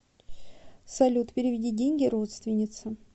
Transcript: салют переведи деньги родственнице